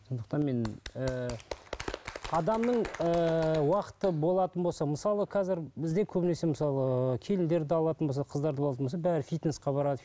сондықтан мен ііі адамның ііі уақыты болатын болса мысалы қазір бізде көбінесе мысалы келіндерді алатын болсақ қыздарды алатын болсақ бәрі фитнеске барады